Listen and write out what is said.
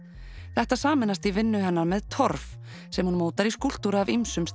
þetta sameinast í vinnu hennar með torf sem hún mótar í skúlptúra af ýmsum